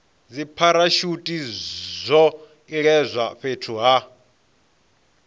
dzipharashuthi zwo iledzwa fhethu ha